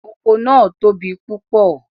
Oko naa tobi pupọ